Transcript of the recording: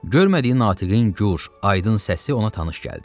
Görmədiyi natiqin gur, aydın səsi ona tanış gəldi.